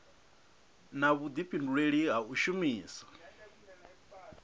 na vhudifhinduleli ha u shumisa